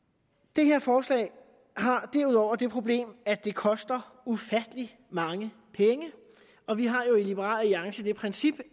det her forslag har derudover det problem at det koster ufattelig mange penge og vi har jo i liberal alliance det princip